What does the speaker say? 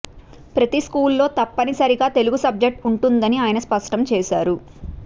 ప్రతి స్కూల్లో తప్పనిసరిగా తెలుగు సబ్జెక్ట్ ఉంటుందని ఆయన స్పష్టం చేశారు